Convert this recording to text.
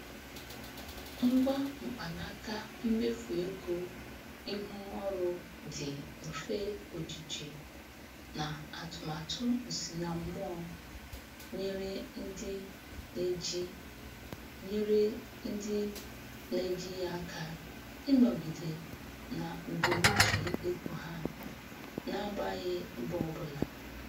Ngwa mkpanaka mmefu ego ihu ọrụ dị mfe ojiji na atụmatụ nsinammụọ nyere ndị na-eji nyere ndị na-eji ya aka ịnọgide na mbunuche ego ha na-agbaghị mbọ ọbụla.